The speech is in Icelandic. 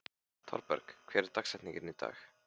Thorberg, hver er dagsetningin í dag?